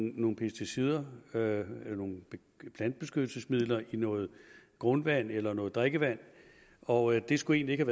nogle pesticider nogle nogle plantebeskyttelsesmidler i noget grundvand eller noget drikkevand og det skulle egentlig